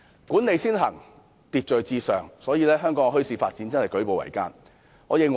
"管理先行，秩序至上"，致令香港墟市發展舉步維艱。